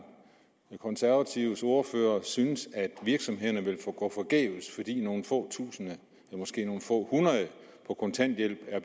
den konservative ordfører kan synes at virksomhederne vil gå forgæves fordi nogle få tusind ja måske nogle få hundrede på kontanthjælp er